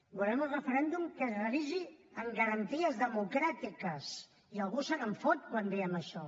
volem un referèndum que es realitzi amb garanties democràtiques i algú se’n fot quan diem això